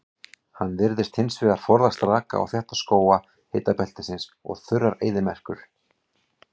Hann virðist hins vegar forðast raka og þétta skóga hitabeltisins og þurrar eyðimerkur.